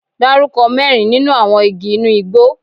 Dárúkọ mẹ́rin nínú àwọn igi inú igbó?